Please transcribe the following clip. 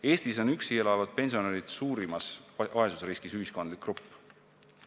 Eestis on üksi elavad pensionärid suurimas vaesusriskis ühiskondlik grupp.